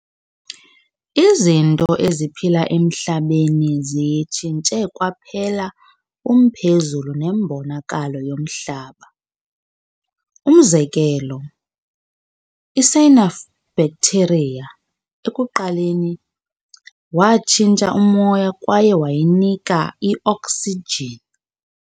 Izinto eziphila emhlabeni ziyitshinsthe kwaphela umphezulu nembonakalo yomhlaba. Umzekelo, cyanobacteria ekuqaleni watshintsha umoya kwaye wayinika i-oksijini.